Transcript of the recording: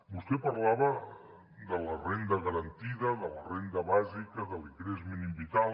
vostè parlava de la renda garantida de la renda bàsica de l’ingrés mínim vital